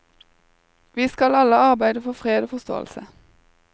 Vi skal alle arbeide for fred og forsåelse.